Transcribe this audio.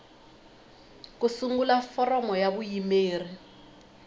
ku sungula foramu ya vuyimeri